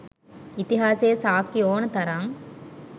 ඉතිහාසයේ සාක්කි ඕනතරං